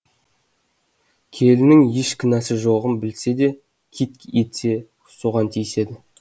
келінінің еш кінәсі жоғын білсе де қит етсе соған тиседі